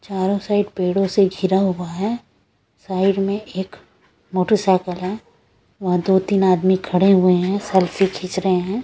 चारों साइड पेड़ों से घिरा हुआ है साइड में एक मोटरसाइकिल है वहाँ दो-तीन आदमी खड़े हुए हैं सेल्फी खींच रहे हैं।